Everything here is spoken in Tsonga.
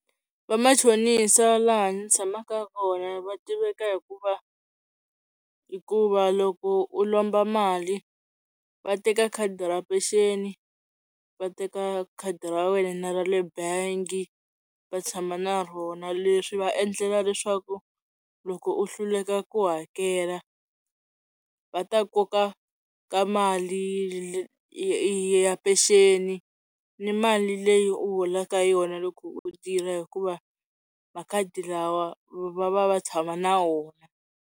Va machonisa va laha ndzi tshamaka kona va tiveka hikuva hikuva loko u lomba mali va teka khadi ra peceni va teka khadi ra wena na ra le bangi va tshama na rona, leswi va endlela leswaku loko u hluleka ku hakela va ta koka ka mali ya peceni ni mali leyi u holaka yona loko u tirha hikuva makhadi lawa va va va tshama na wona.